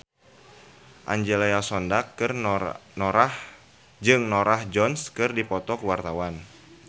Angelina Sondakh jeung Norah Jones keur dipoto ku wartawan